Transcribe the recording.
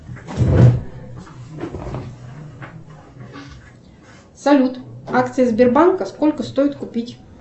салют акции сбербанка сколько стоит купить